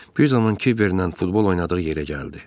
Bir zaman Kiverlə futbol oynadığı yerə gəldi.